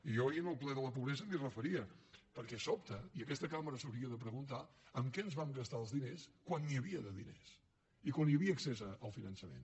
i jo ahir en el ple de la pobresa m’hi referia perquè sobta i aquesta cambra s’hauria de preguntar amb què ens vam gastar els diners quan n’hi havia de diners i quan hi havia accés al finançament